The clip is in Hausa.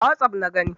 A wossof na gani.